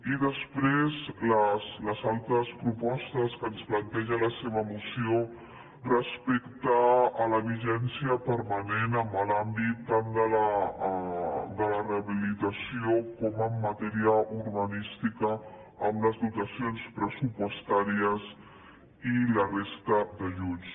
i després les altres propostes que ens planteja la seva moció respecte a la vigència permanent en l’àmbit tant de la rehabilitació com en matèria urbanística amb les dotacions pressupostàries i la resta d’ajuts